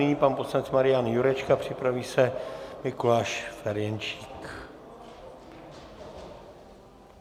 Nyní pan poslanec Marian Jurečka, připraví se Mikuláš Ferjenčík.